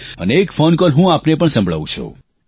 અને એક phone call હું આપને પણ સંભળાવું છું